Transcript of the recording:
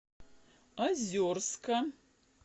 озерска